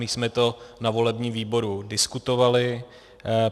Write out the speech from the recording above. My jsme to na volebním výboru diskutovali.